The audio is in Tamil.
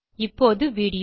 இப்போது வீடியோ